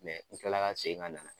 u kila la ka segin ka na.